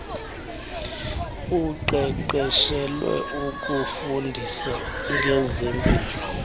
oqeqeshelwe ukufundisa ngezempilo